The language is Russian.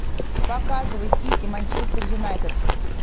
показывай сити манчестер юнайтед